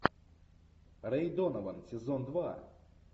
рэй донован сезон два